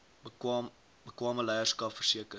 bekwame leierskap verseker